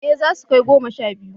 Eh zasu kai goma sha biyu